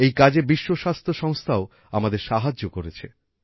এই কাজে বিশ্ব স্বাস্থ্য সংস্থাও আমাদের সাহায্য করেছে